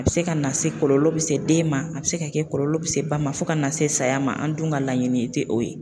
A be se ka na se kɔlɔlɔ be se den ma a be se ka kɛ kɔlɔlɔ be se ba ma fɔ ka na se saya ma an dun ka laɲini te o ye